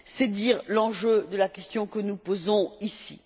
C'est dire l'enjeu de la question que nous posons ici.